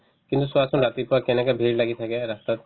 কিন্তু চোৱাচোন ৰাতিপুৱা কেনেকে ভিৰ লাগি থাকে ৰাস্তাত